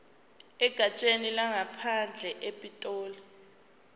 egatsheni lezangaphandle epitoli